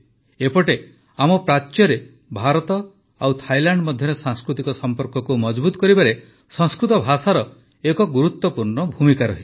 ଏପଟେ ଆମ ପ୍ରାଚ୍ୟରେ ଭାରତ ଓ ଥାଇଲାଣ୍ଡ ମଧ୍ୟରେ ସାଂସ୍କୃତିକ ସମ୍ପର୍କକୁ ମଜଭୁତ କରିବାରେ ସଂସ୍କୃତ ଭାଷାର ଏକ ଗୁରୁତ୍ୱପୂର୍ଣ୍ଣ ଭୂମିକା ରହିଛି